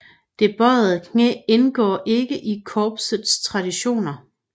Det bøjede knæ indgår ikke i korpsets traditioner